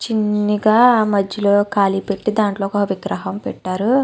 చిన్నిగా మజ్లో ఖాళీ పెట్టి అందులో ఒక విగ్రహం పెట్టారు.